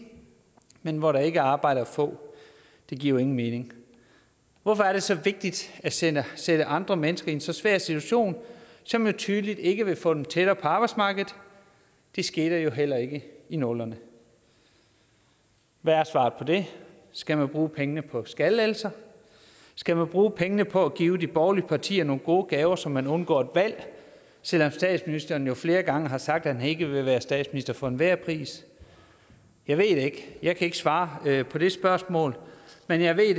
men hvor der ikke er arbejde at få det giver jo ingen mening hvorfor er det så vigtigt at sætte sætte andre mennesker i en så svær situation som jo tydeligt ikke vil få dem tættere på arbejdsmarkedet det skete jo heller ikke i nullerne hvad er svaret på det skal man bruge pengene på skattelettelser skal man bruge pengene på at give de borgerlige partier nogle gode gaver så man undgår et valg selv om statsministeren jo flere gange har sagt at han ikke vil være statsminister for enhver pris jeg ved det jeg kan ikke svare på det spørgsmål men jeg ved